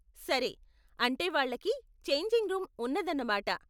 సరే, అంటే వాళ్ళకి ఛేంజింగ్ రూమ్ ఉన్నదన్నమాట.